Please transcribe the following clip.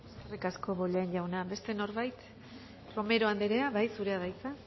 eskerrik asko bollain jauna beste norbait romero anderea zurea da hitza